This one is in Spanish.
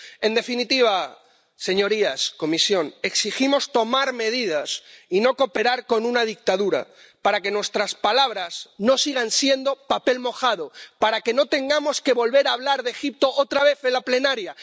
En definitiva, señorías, Comisión, exigimos tomar medidas y no cooperar con una dictadura para que nuestras palabras no sigan siendo papel mojado, para que no tengamos que volver a hablar de Egipto otra vez en la sesión plenaria.